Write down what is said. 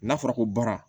N'a fɔra ko bara